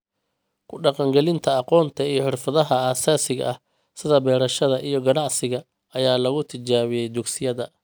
Ku dhaqangelinta aqoonta iyo xirfadaha aasaasiga ah sida beerashada iyo ganacsiga ayaa lagu tijaabiyaa dugsiyada.